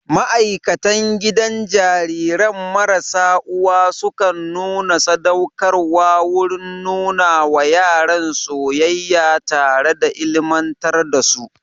Ma'aikan gidajen jariran marasa uwa sukan nuna sadaukarwa wurin nuna wa yaran soyayya tare da ilimantar da su